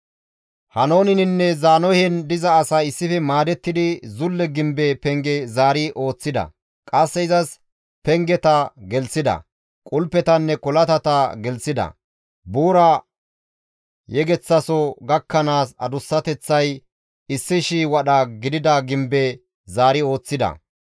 Haanooneninne Zaanohen diza asay issife maadettidi zulle gimbe penge zaari ooththida; qasse izas pengeta gelththida; qulpetanne kolatata gelththida; buura yegeththaso gakkanaas adussateththay 1,000 wadha gidida gimbe zaari ooththida.